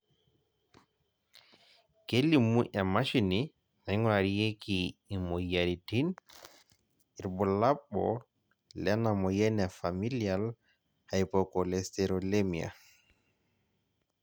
kelimu emashini naingurarieki imoyiaritin irbulabol lena moyian e Familial hypercholesterolemia